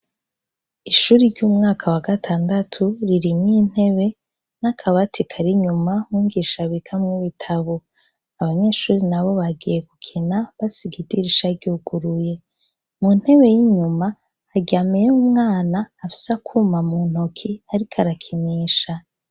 Ishuri ry'umwaka wa gatandatu ririmw'intebe n'akabati kari inyuma umwigisha abikamwo ibitabo. Abanyeshure nabo bagiye gukina basiga idirisha ryuguruye. Mu ntebe y'inyuma haryamye yo umwana afise akuma mu ntoki ariko arakinisha.